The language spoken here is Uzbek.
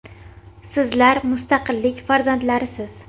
Sizlar mustaqillik farzandlarisiz.